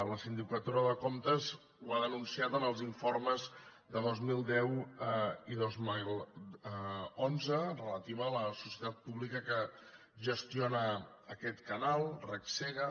la sindicatura de comptes ho ha denunciat en els informes de dos mil deu i dos mil onze relatiu a la societat pública que gestiona aquest canal regsega